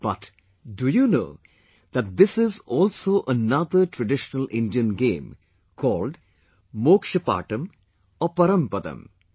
But, do you know that this is also another traditional Indian game, called "Moksha Patam" or "Parampadam"